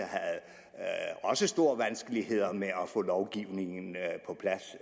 også store vanskeligheder med at få lovgivningen på plads